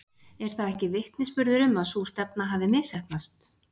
Er það ekki vitnisburður um að sú stefna hafi misheppnast?